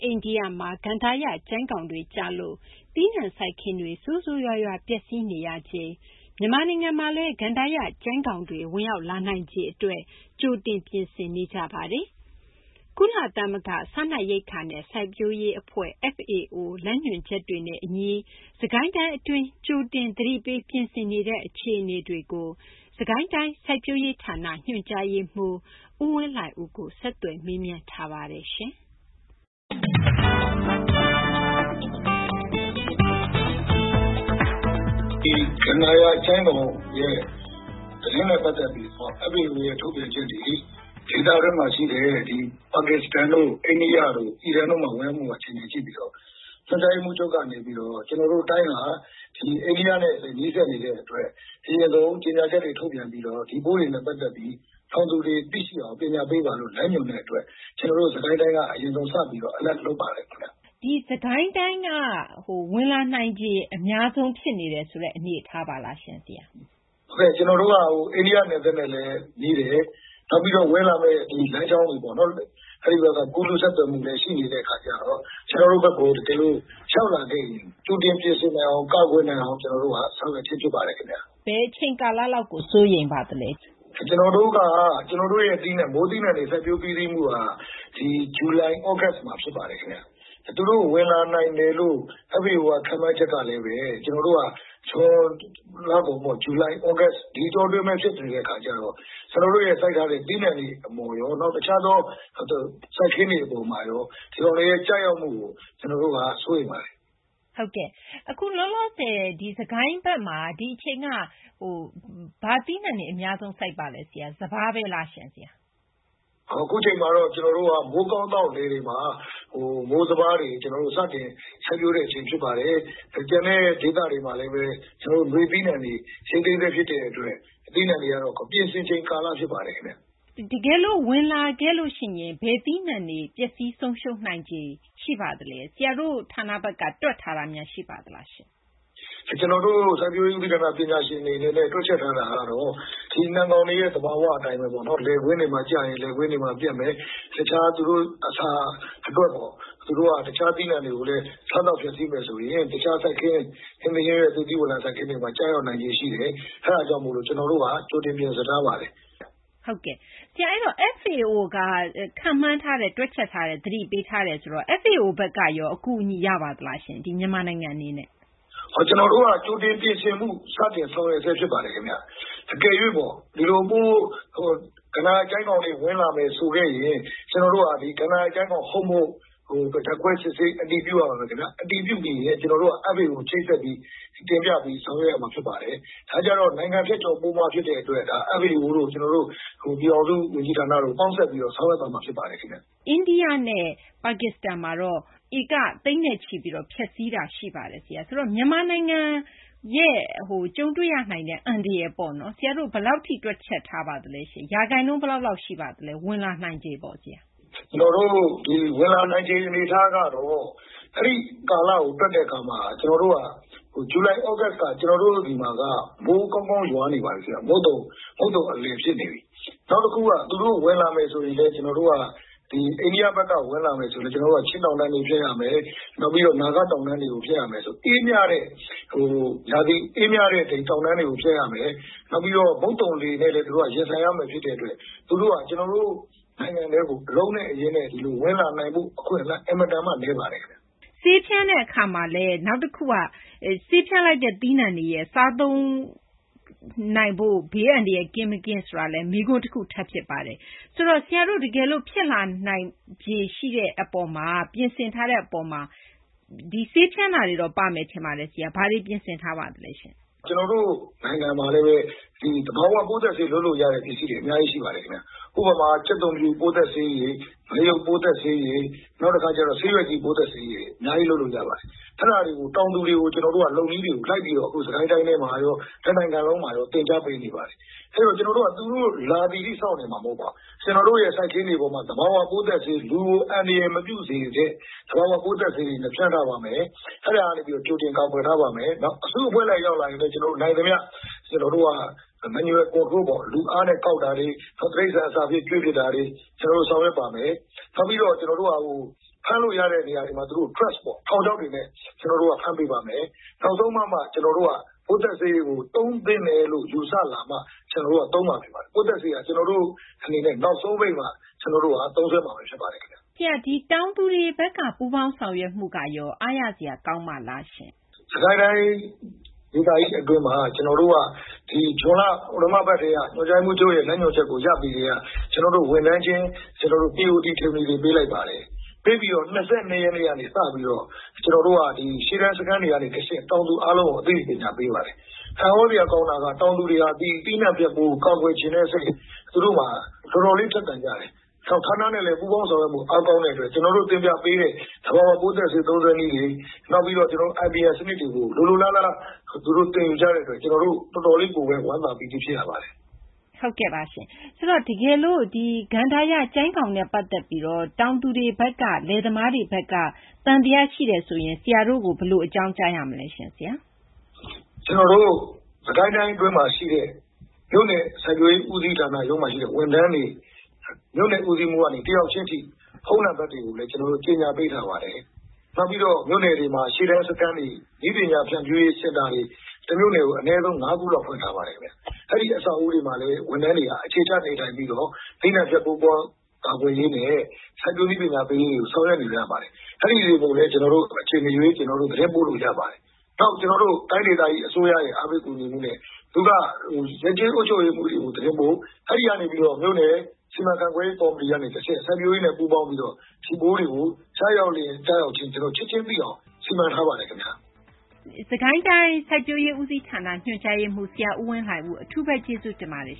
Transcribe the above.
အိန္ဒိယမှာ ကန္တာရ ကျိုင်းကောင်တွေကျလို့ သီးနှံစိုက်ခင်းတွေ ဆိုးဆိုးရွားရွား ပျက်စီးနေရချိန် မြန်မာနိုင်ငံမှာလည်း ကန္တာရကျိုင်းကောင်တွေ ဝင်ရောက်လာနိုင်ခြေ အတွက် ကြိုတင်ပြင်ဆင်နေကြပါတယ်။ ကုလသမဂ္ဂ စားနပ်ရိက္ခာနဲ့ စိုက်ပျိုးရေး အဖွဲ့ FAO လမ်းညွှန်ချက်တွေနဲ့ အညီ စစ်ကိုင်းတိုင်း အတွင်း ကြိုတင် သတိပေး ပြင်ဆင်နေတဲ့ အခြေအနေတွေကို စစ်ကိုင်းတိုင်း စိုက်ပျိုးရေးဌာန ညွှန်ကြားရေးမှူး ဦးဝင်းလှိုင်ဦးကို ဆက်သွယ်မေးမြန်းပြီး ဒီသီတင်းပတ် စီးပွားရေး ကဏ္ဍမှာ မသိင်္ဂ ီထိုက် တင်ပြထားပါတယ်။ ဦးဝင်းလှိုင်ဦး ။ ။ ဒီကန္တာရ ကျိုင်းကောင် သတင်းနဲ့ ပတ်သက်ပြီးတော့ FAO ရဲ့ ထုတ်ပြန်ချက်တွေ ဒေသတွင်းမှာ ရှိတဲ့ ပါကစ္စတန်တို့ အိန္ဒိယတို့ အီရန်တို့မှာ ဝင်ရောက်မှု အခြေအနေကို ကြည့်ပြီးတော့ ညွှန်ကြားရေးမှူးချုပ်က နေပြီးတော့ ကျနော်တို့ တိုင်းဟာ ဒီ အိန္ဒိယနဲ့လည်း နီးစပ်နေတဲ့ အတွက် အရင်ဆုံး ကြေညာချက်တွေ ထုတ်ပြန်ပြီးတော့ ဒီ ပိုးတွေနဲ့ ပတ်သက်ပြီး တောင်သူတွေ သိအောင် ပညာပေးပါလို့ လမ်းညွှန်တဲ့ အတွက် ကျနော်တို့ စစ်ကိုင်းတိုင်းက စပြီးတော့ သတိပေးပါတယ်။ သိင်္ဂ ီထိုက် ။ ။ ဒီ စစ်ကိုင်းတိုင်းက ဝင်လာနိုင်ခြေ အများဆုံး ဖြစ်နေတယ်ဆိုတဲ့ အနေအထားပါလားရှင့် ဆရာ။ ဦးဝင်းလှိုင်ဦး ။ ။ ဟုတ်ကဲ့ ကျနော်တို့က အိန္ဒိယ နယ်စပ်နဲ့လည်းနီးတယ်၊ နောက်ပြီး ဝင်လာမယ့် လမ်းကြောင်းတွေ ပေါ့နော် အဲဒီဘက်က ကူးလူး ဆက်သွယ်မှုလည်း ရှိနေတဲ့ အခါကျတော့ ကျနော်တို့ဘက်ကို တကယ်လို့ ရောက်လာခဲ့ရင် ကြိုတင် ပြင်ဆင်နိုင်အောင် ကာကွယ်နိုင်အောင် ကျနော်တို့ ဆောင်ရွက်ခြင်း ဖြစ်ပါတယ် ခင်ဗျ။ သိင်္ဂ ီထိုက် ။ ။ ဘယ်အချိန် ကာလ လောက်ကို စိုးရိမ်ပါသလဲ။ ဦးဝင်းလှိုင်ဦး ။ ။ ကျနော်တို့ရဲ့ မိုးသီးနှံတွေ စိုက်ပျိုး ပြီးစီးမှုဟာ ဒီ ဇူလိုင် သြဂုတ်မှာ ဖြစ်ပါတယ် ခင်ဗျ။ သူတို့ ဝင်လာနိုင်တယ်လို့ FAO က ခန့်မှန်းချက်ကလည်းဘဲ ကျနော်တို့က ဇွန်လကုန်ပေါ့ ဇူလိုင် ၊ သြဂုတ် ဒီအတောအတွင်းဘဲ ဖြစ်နေတဲ့ အခါကျတော့ ကျနော်တို့ရဲ့ စိုက်ထားတဲ့ သီးနှံတွေ အပေါ်ရော၊ နောက် တခြားသော စိုက်ခင်းတွေ အပေါ်ရော ဒီကောင်တွေရဲ့ ကျရောက်မှုကို ကျနော်တို့က စိုးရိမ်ပါတယ်။ သိင်္ဂ ီထိုက် ။ ။ ဟုတ်ကဲ့။ အခုလောလောဆယ် ဒီ စစ်ကိုင်းဘက်မှာ ဒီအချိန်က ဘာသီးနှံတွေ အများဆုံး စိုက်ပါလဲ။ စပါး လားရှင့် ဆရာ။ ဦးဝင်းလှိုင်ဦး ။ ။ အခုအချိန်မှာတော့ ကျနော်တို့က မိုးကောင်းသောက် လယ်တွေမှာ မိုးစပါးတွေ စတင် စိုက်ပျိုးတဲ့ အချိန် ဖြစ်ပါတယ်။ ကျန်တဲ့ ဒေသတွေမှာလည်း ကျနော်တို့ နွေသီးနှံတွေ ရိတ်သိမ်းဆဲ ဖြစ်တဲ့ အတွက် သီးနှံတွေကတော့ ပြင်ဆင်ချိန် ကာလ ဖြစ်ပါတယ်။ သိင်္ဂ ီထိုက် ။ ။ တကယ်လို့ ဝင်လာခဲ့လို့ ရှိရင် ဘယ်သီးနှံတွေ ပျက်စီး ဆုံးရှုံးနိုင်ခြေ ရှိပါသလဲ။ ဆရာတို့ ဌာနဘက်က တွက်ထားတာများ ရှိပါသလားရှင့်။ ဦးဝင်းလှိုင်ဦး ။ ။ ကျနော်တို့ စိုက်ပျိုးရေး ဦးစီးဌာန ပညာရှင်တွေ အနေနဲ့ တွက်ချက်ထားတာ ကတော့ ဒီနှံကောင်တွေရဲ့ သဘောသဘာ၀ အတိုင်းဘဲ လယ်ကွင်းတွေမှာ ကျရင် လယ်ကွင်းတွေ ပျက်မယ်။ တခြား သူတို့ အစာ အတွက်ပေါ့ သူတို့က တခြား သီးနှံတွေကိုလည်း စားသောက် ဖျက်စီးမယ် ဆိုရင် တခြား စိုက်ခင်း၊ ဟင်းသီး ဟင်းရွက် သစ်သီးဝလံ စိုက်ခင်းတွေမှာ ကျရောက် နိုင်ခြေ ရှိတယ်။ အဲဒါကြောင့် ကျနော်တို့က ကြိုတင် ပြင်ဆင်ထားပါတယ်။ သိင်္ဂ ီထိုက် ။ ။ ဆရာ အဲဒီတော့ FAO က ခန့်မှန်းထားတယ် သတိပေးထားတယ် ဆိုတော့ FAO ဘက်ကရော အကူအညီ ရပါသလားရှင့်။ မြန်မာနိုင်ငံ အနေနဲ့။ ဦးဝင်းလှိုင်ဦး ။ ။ ကျနော်တို့က ကြိုတင် ပြင်ဆင်မှု စတင် ဆောင်ရွက်ဆဲ ဖြစ်ပါတယ် ခင်ဗျ။ အကယ်၍ပေါ့ ကန္တာရ ကျိုင်းကောင်တွေ ဝင်လာမယ် ဆိုခဲ့ရင် ကျနော်တို့က ကန္တာရ ကျိုင်းကောင် ဟုတ် မဟုတ် ဓာတ်ခွဲ စစ်ဆေး အတည်ပြုရပါမယ် ခင်ဗျ။ အတည်ပြုပြီးရင် ကျနော်တို့က FAO ကို ချိတ်ဆက်ပြီး တင်ပြပြီး ဆောင်ရွက်ရမှာ ဖြစ်ပါတယ်။ ဒါကျတော့ နိုင်ငံ ဖြတ်ကျော် ပိုးမွှား ဖြစ်တဲ့ အတွက် ဒါ FAO တို့ ပြည်ထောင်စု ဝန်ကြီးဌာနတို့ ပေါင်းစပ်ပြီးတော့ ဆောင်ရွက်သွားမှာ ဖြစ်ပါတယ်။ သိင်္ဂ ီထိုက် ။ ။ အိန္ဒိယနဲ့ ပါကစ္စတန်မှာတော့ ဧက သိန်းနဲ့ချီပြီးတော့ ဖျက်စီးတာ ရှိပါတယ် ဆရာ။ ဆိုတော့ မြန်မာနိုင်ငံရဲ့ ကြုံတွေ့ရနိုင်တဲ့ အန္တရာယ်ပေါ့နော်။ ဆရာတို့ ဘယ်လောက်ထိ တွက်ချက် ထားပါသလဲရှင့်။ ရာခိုင်နှုန်း ဘယ်လောက် ရှိပါသလဲ ဝင်လာနိုင်ခြေပေါ့ ဆရာ။ ဦးဝင်းလှိုင်ဦး ။ ။ ဝင်လာနိုင်ခြေ အနေအထား ကတော့ အဲဒီ ကာလကို တွက်တဲ့ အခါမှာ ကျနော်တို့က ဇူလိုင် သြဂုတ်က ကျနော်တို့ ဆီမှာက မိုးကောင်းကောင်း ရွာနေပါပြီ ခင်ဗျ။ မုတ်သုံ အလယ် ဖြစ်နေပြီ။ နောက်တခုက သူတို့ ဝင်လာမယ်ဆိုရင်လည်း ကျနော်တို့ ဒီ အိန္ဒိယဘက်က ဝင်လာမယ်ဆိုရင် ကျနော်တို့က ချင်းတောင်တန်းတွေ ဖြတ်ရမယ်၊ နောက်ပြီးတော့ နာဂ တောင်တန်းတွေကို ဖြတ်ရမယ် ဆိုတော့ အေးမြတဲ့ တောင်တန်းတွေကို ဖြတ်ရမယ်။ နောက်ပြီးတော့ မုတ်သုံလေနဲ့လည်း သူတို့က ရင်ဆိုင်ရမှာ ဖြစ်တဲ့ အတွက် သူတို့ဟာ ကျနော်တို့ နိုင်ငံထဲကို အလုံးနဲ့ အရင်းနဲ့ ဝင်လာနိုင်ဖို့ အခွင့်အလမ်း အင်မတန်မှ နည်းပါတယ် ခင်ဗျ။ သိင်္ဂ ီထိုက် ။ ။ ဆေးဖြန်းတဲ့ အခါမှာလည်း နောက်တခုက ဆေးဖြန်းလိုက်တဲ့ သီးနှံတွေရဲ့ စားသုံးဖို့ ဘေးကင်းမှုနဲ့ ပတ်သက်ပြီး မေးခွန်းထပ် ဖြစ်ပါတယ်။ ဆရာတို့ တကယ်လို့ ဖြစ်လာနိုင်ခြေ အပေါ် ပြင်ဆင်ထားတာမှာ ဆေးဖြန်းတာလည်း ပါမယ် ထင်ပါတယ်။ ဘာတွေ ပြင်ဆင်ထားပါလဲရှင့်။ ဦးဝင်းလှိုင်ဦး ။ ။ ကျနော်တို့ နိုင်ငံမှာလည်းဘဲ ဒီ သဘာ၀ ပိုးသတ်ဆေး လုပ်လို့ ရတဲ့ ပစ္စည်းတွေ အများကြီး ရှိပါတယ် ခင်ဗျ။ ဥပမာ ကြက်သွန်ဖြူ ပိုးသတ်ဆေးရည်၊ ငရုတ် ပိုးသတ်ဆေးရည်၊ နောက်တခါ ဆေးရွက်ကြီး ပိုးသတ်ဆေးရည် အများကြီး လုပ်လို့ ရပါတယ်။ အဲဒါတွေကို တောင်သူတွေကို ကျနော်တို့က လုပ်နည်းတွေကို လိုက်ပြီးတော့ စစ်ကိုင်းတိုင်းထဲမှာရော တနိုင်ငံလုံးမှာရော သင်ကြားပေးနေပါတယ်။ အဲတော့ ကျနော်တို့က သူတို့ လာသည်ထိ စောင့်နေမှာ မဟုတ်ပါဘူး။ ကျနော်တို့ရဲ့ စိုက်ခင်းတွေပေါ်မှာ သဘာ၀ ပိုးသတ်ဆေး လူကို အန္တရာယ် မပြုစေတဲ့ သဘာ၀ ပိုးသတ်ဆေးရည်နဲ့ ဖျန်းထားပါမယ်။ အဲဒါနဲ့ ကြိုတင် ကာကွယ်ထားပါမယ်။ အစု အဖွဲ့လိုက် ရောက်လာရင်လည်း ကျနော်တို့ နိုင်သမျှ လူအားနဲ့ ကောက်တာတွေ တိရိစ္ဆာန် အစာအဖြစ် ကျွေးပစ်တာတွေ ကျနော်တို့ ဆောင်ရွက်ပါမယ်။ နောက်ပြီးတော့ ကျနော်တို့က ဖမ်းလို့ ရတဲ့ နေရာတွေမှာ ထောင်ချောက်တွေနဲ့ ကျနော်တို့က ဖမ်းပေးပါမယ်။ နောက်ဆုံးပါမှ ကျနော်တို့က ပိုးသတ်ဆေးကို သုံးသင့်တယ်လို့ ယူဆလာမှ ကျနော်တို့က သုံးမှာ ဖြစ်ပါတယ်။ ပိုးသတ်ဆေးက ကျနော်တို့ အနေနဲ့ နောက်ဆုံးပိတ်မှ ကျနော်တို့က သုံးစွဲမှာဘဲ ဖြစ်ပါတယ်ခင်ဗျ။ သိင်္ဂ ီထိုက် ။ ။ တောင်သူတွေ ဘက်က ပူးပေါင်းဆောင်ရွက်မှုကရော အားရစရာ ကောင်းပါလားရှင့်။ ဦးဝင်းလှိုင်ဦး ။ ။ စစ်ကိုင်းတိုင်း ဒေသကြီး အတွင်းမှာ ဇွန်လ ပထမပတ် ကတည်းက ညွှန်ကြားရေးမှူးချုပ်ရဲ့ လမ်းညွှန်ချက်ကို ရပြီး ကတည်းက ကျနော်တို့ ဝန်ထမ်းချင်း သီအိုရီ သင်တန်းတွေ ပေးလိုက်ပါတယ်။ ပေးပြီးတော့ ၂၂ ရက်နေ့ကနေ စပြီးတော့ ကျနော်တို့ ရှေ့တန်း စခန်းတွေ ကနေ တဆင့် တောင်သူတွေကို အသိပညာ ပေးပါတယ်။ အံ့သြစရာ ကောင်းတာက ဒီ တောင်သူတွေဟာ ဒီ သီးနှံ ဖျက်ပိုးကို ကာကွယ်ချင်တဲ့စိတ် တော်တော်လေး ထက်သန်ကြတယ်။ နောက် ဌာနနဲ့လည်း ပူးပေါင်းဆောင်ရွက်မှု အားကောင်းတဲ့ အတွက် ကျနော်တို့ သင်ပြပေးတဲ့ သဘာ၀ ပိုးသတ်ဆေး သုံးစွဲနည်းတွေ နောက်ပြီးတော့ IPM စနစ်တွေကို လိုလိုလားလား သင်ယူကြတဲ့ အတွက် ကျနော်တို့ တော်တော်လေးကိုဘဲ ဝမ်းသာပီတိ ဖြစ်ရပါတယ်။ သိင်္ဂ ီထိုက် ။ ။ တကယ်လို့ ကန္တာရ ကျိုင်းကောင်နဲ့ ပတ်သက်ပြီးတော့ တောင်သူတွေ ဘက်က လယ်သမားတွေ ဘက်က သံသယ ရှိတယ်ဆိုရင် ဆရာတို့ကို ဘယ်လို အကြောင်းကြားရမလဲရှင့်။ ဦးဝင်းလှိုင်ဦး ။ ။ ကျနော်တို့ စစ်ကိုင်းတိုင်း အတွင်းမှာ ရှိတဲ့ မြို့နယ် စိုက်ပျိုးရေး ဦးစီးဌာန ရုံးမှာ ရှိတဲ့ ဝန်ထမ်းတွေ မြို့နယ် ဦးစီးမှူးကနေ တယောက်ချင်းထိ ဖုန်းနံပတ်တွေကိုလည်း ကျနော်တို့ ကြေညာပေးထားပါတယ်။ နောက်ပြီးတော့ မြို့နယ်တွေမှာ ရှေ့တန်း စခန်းတွေ နည်းပညာ ဖြန့်ဖြူးရေး စင်တာတွေ တမြို့နယ်ကို ၅ ခုလောက် ဖွင့်ထားပါတယ်။ အဲဒီ အဆောက်အအုံတွေမှာလည်း ဝန်ထမ်းတွေက အခြေချ နေထိုင်ပြီးတော့ သီးနှံဖျက် ပိုးမွှား ကာကွယ်ရေးနဲ့ စိုက်ပျိုး နည်းပညာပေးကို ဆောင်ရွက်နေကြပါတယ်။ အဲဒီကိုလည်း ကျနော်တို့ အချိန် မရွေး သတင်းပို့လို့ ရပါတယ်။ နောက် ကျနော်တို့ တိုင်းဒေသကြီး အစိုးရရဲ့ အားပေး ကူညီမှုနဲ့ ရပ်ကျေး အုပ်ချုပ်ရေးမှူးတွေကို သတင်းပို့ အဲဒီကနေ ပြီးတော့ မြို့နယ် စီမံခန့်ခွဲရေး ကော်မတီက နေပြီးတော့ တဆင့် စိုက်ပျိုးရေးနဲ့ ပူးပေါင်းပြီးတော့ ဒီပိုးတွေကို ကျရောက်လျင် ကျရောက်ခြင်း ချက်ချင်းသိအောင် ဆောင်ရွက်ထားပါတယ် ခင်ဗျ။ သိင်္ဂ ီထိုက် ။ ။ စစ်ကိုင်းတိုင်း စိုက်ပျိုးရေး ဦးစီးဌာန ညွှန်ကြားရေးမှူး ဆရာ ဦးဝင်းလှိုင်ဦး အထူးဘဲ ကျေးဇူးတင်ပါတယ်